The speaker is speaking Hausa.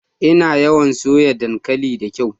Ina yawan soya dankali da ƙwai.